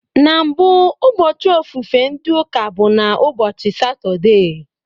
Na mbụ, ụbọchị ofufe ndị Ụka bụ na ụbọchị Satọde